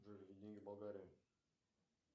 джой деньги в болгарии